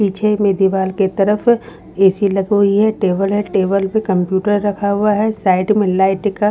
पीछे में दीवार के तरफ ए_ सी_ लगी हुई है टेबल है टेबल में कंप्यूटर रखा हुआ है साइड में लाइट का--